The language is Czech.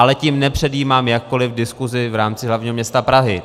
Ale tím nepředjímám jakkoliv diskuzi v rámci hlavního města Prahy.